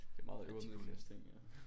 Det er meget øvre middelklasse ting ja